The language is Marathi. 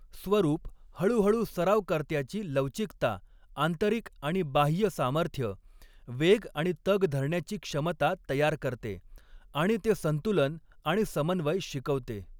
स्वरूप हळूहळू सरावकर्त्याची लवचिकता, आंतरिक आणि बाह्य सामर्थ्य, वेग आणि तग धरण्याची क्षमता तयार करते, आणि ते संतुलन आणि समन्वय शिकवते.